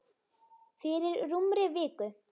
Fyrir rúmri viku.